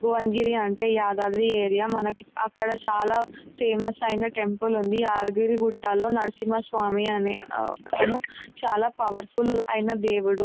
భువనగిరి అంటే యాదాద్రి ఏరియా మనకి అక్కడ చాలా ఫేమస్ ఐన టెంపుల్ ఉంది యాదగిరి గుట్టలో నరసింహ స్వామి అనే అతను చాలా పవర్ఫుల్ ఐన దేవుడు .